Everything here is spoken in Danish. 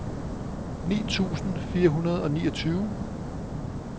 ni tusind fire hundrede og niogtyve